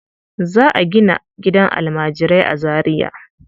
Za a gina gidan almajirai a Zariya.